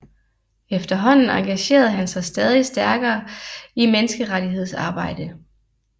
Efterhånden engagerede han sig stadig stærkere i menneskerettighedsarbejde